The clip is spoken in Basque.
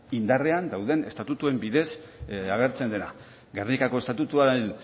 indarrean dauden estatutuen bidez agertzen dena gernikako estatutuaren